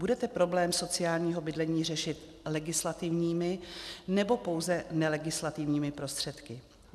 Budete problém sociálního bydlení řešit legislativními, nebo pouze nelegislativními prostředky?